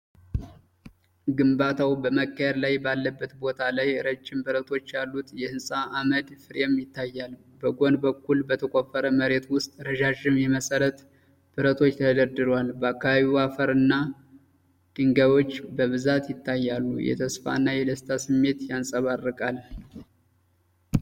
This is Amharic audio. ግንባታው በመካሄድ ላይ ባለበት ቦታ ላይ ረጅም ብረቶች ያሉት የህንጻ ዓምድ ፍሬም ይታያል። በጎን በኩል በተቆፈረ መሬት ውስጥ ረዣዥም የመሠረት ብረቶች ተደርድረዋል። በአካባቢው አፈርና ድንጋዮች በብዛት ይታያሉ፤ የተስፋና የደስታ ስሜት ያንጸባርቃል።